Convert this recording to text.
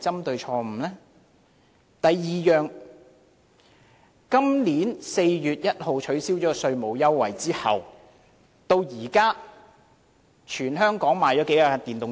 第二，今年4月1日取消稅務優惠至今，全港賣出多少部電動車？